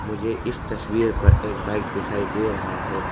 मुझे इस तस्वीर पर एक बाइक दिखाई दे रहा है।